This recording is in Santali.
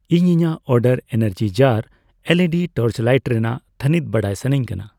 ᱤᱧ ᱤᱧᱟᱜ ᱚᱰᱟᱨ ᱮᱱᱟᱨᱡᱤᱡᱟᱨ ᱮᱞᱹᱤᱹᱰᱤ ᱴᱚᱨᱪᱞᱟᱹᱭᱤᱴ ᱨᱮᱱᱟᱜ ᱛᱷᱟᱱᱤᱛ ᱵᱟᱰᱟᱭ ᱥᱟᱹᱱᱟᱧ ᱠᱟᱱᱟ ᱾